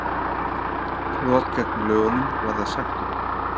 Brot gegn lögunum varða sektum